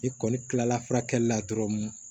I kɔni kilala furakɛli la dɔrɔn